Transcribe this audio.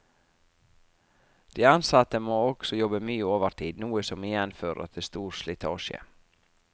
De ansatte må også jobbe mye overtid, noe som igjen fører til stor slitasje.